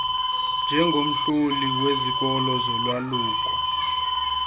njengomhloli wezikolo zolwaluko